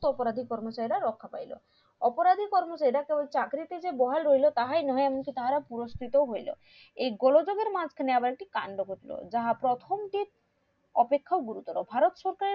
অপরাধীর কর্মচারীরা রক্ষা পাইলো অপরাধীর কর্মচারীরা কেবল চাকরি তে যে বহাল হইলো তাহাই নহে এবং তারা পুরষ্কিত ও হইলো এই গোলযোগের মাজখানে একটি কান্ড ঘটলো যাহা প্রথম দিন অপেক্ষা গুরুতর ভারত সরকার